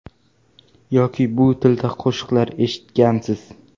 Yoki bu tilda qo‘shiqlar eshitgansiz.